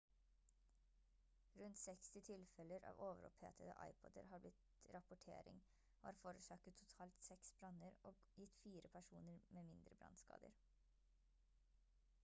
rundt 60 tilfeller av overopphetede ipod-er har blitt rapportering og har forårsaket totalt seks branner og gitt fire personer med mindre brannskader